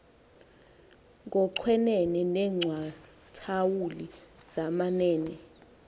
ngoochwenene neengcathawuli zamanene